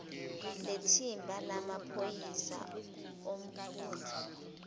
lethimba lamaphoyisa ombutho